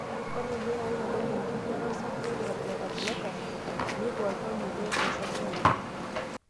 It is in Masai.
Ore ilkeek oitadoyio enkuatata osarge le beta blockers neiko oltau meetosho osarge akiti.